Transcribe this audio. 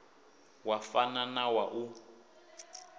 wa fana na wa u